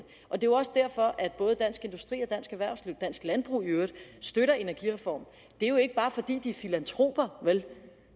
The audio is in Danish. er jo også derfor at både dansk industri og dansk erhvervsliv og dansk landbrug i øvrigt støtter energireformen det er jo ikke bare fordi de er filantroper